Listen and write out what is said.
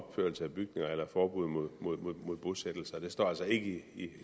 opførelse af bygninger eller forbud mod mod bosættelser det står altså ikke i